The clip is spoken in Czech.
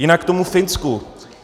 Jinak k tomu Finsku.